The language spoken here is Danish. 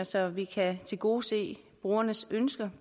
så vi kan tilgodese brugernes ønsker